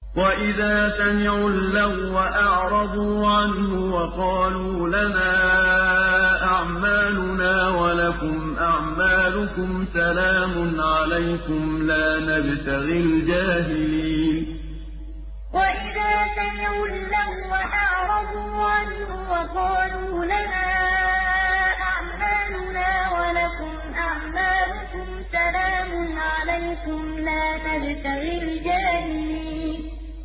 وَإِذَا سَمِعُوا اللَّغْوَ أَعْرَضُوا عَنْهُ وَقَالُوا لَنَا أَعْمَالُنَا وَلَكُمْ أَعْمَالُكُمْ سَلَامٌ عَلَيْكُمْ لَا نَبْتَغِي الْجَاهِلِينَ وَإِذَا سَمِعُوا اللَّغْوَ أَعْرَضُوا عَنْهُ وَقَالُوا لَنَا أَعْمَالُنَا وَلَكُمْ أَعْمَالُكُمْ سَلَامٌ عَلَيْكُمْ لَا نَبْتَغِي الْجَاهِلِينَ